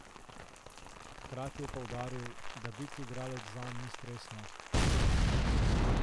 Hkrati je poudaril, da biti igralec zanj ni stresno.